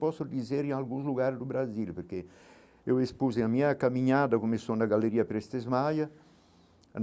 Posso dizer em alguns lugares do Brasil, porque eu a minha caminhada, começou na Galeria Prestes Maia.